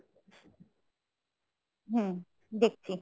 হম দেখছি